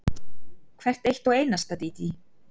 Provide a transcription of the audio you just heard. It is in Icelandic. Hvert eitt og einasta, Dídí.